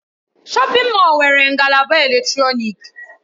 Shọpin Mọll nwere ngalaba eletrọnịkị.